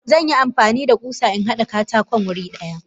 Zanyi amfanida kusa inhada katakon wuri daya.